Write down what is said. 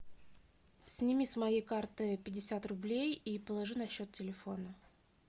сними с моей карты пятьдесят рублей и положи на счет телефона